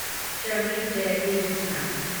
श्रमेव जयते योजना